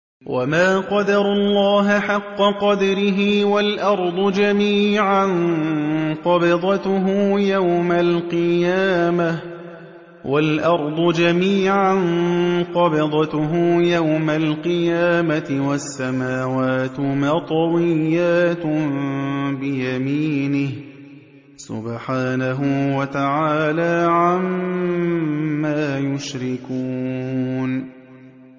وَمَا قَدَرُوا اللَّهَ حَقَّ قَدْرِهِ وَالْأَرْضُ جَمِيعًا قَبْضَتُهُ يَوْمَ الْقِيَامَةِ وَالسَّمَاوَاتُ مَطْوِيَّاتٌ بِيَمِينِهِ ۚ سُبْحَانَهُ وَتَعَالَىٰ عَمَّا يُشْرِكُونَ